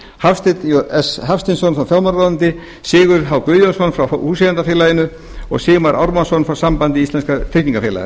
hafstein s hafsteinsson frá fjármálaráðuneyti sigurð h guðjónsson frá húseigendafélaginu og sigmar ármannsson frá sambandi íslenskra tryggingafélaga